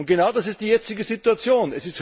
Und genau das ist die jetzige Situation!